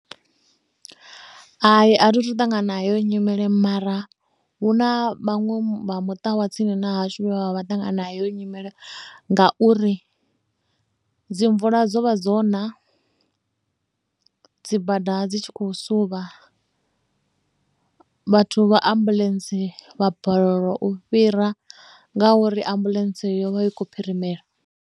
Hai a thi athu ṱangana nayo nyimele mara hu na vhaṅwe vha muṱa wa tsini na vhashumi vha ṱangana nayo nyimele ngauri dzi mvula dzo vha na dzibada dzi tshi khou suvha vhathu vha ambuḽentse vha balelwa u fhira ngauri ambuḽentse yo vha i khou phirimela.